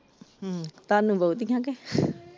ਹਮ ਤੁਹਾਨੂੰ ਬਹੁਤੀਆਂ ਕੇ ।